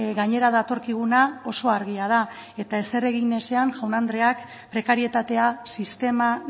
gainera datorkiguna oso argia da eta ezer egin ezean jaun andreak prekarietatea sistema